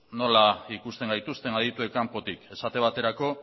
nola ikusten gaituzten adituek kanpotik esate baterako